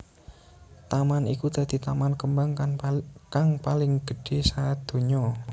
Taman iku dadi taman kembang kang paling gedhé sadonya